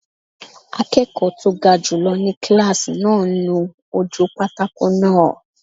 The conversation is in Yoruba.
Akẹ́kọ̀ọ́ tó ga jùlọ ni kílásì náà ń nu ojú pátákó náà